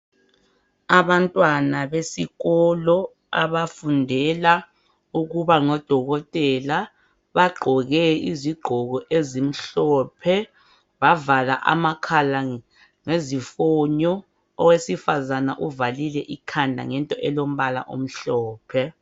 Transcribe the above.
Abantwana besikolo abafundela ukuba ngodokotela bagqoke izigqoko ezimhlophe. Bavala amakhala ngezifonyo, owesifazana uvalile ikhanda ngento elombala omhlophe.